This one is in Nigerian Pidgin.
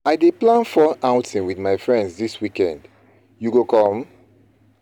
I dey plan fun outing wit my friends dis weekend, you go come?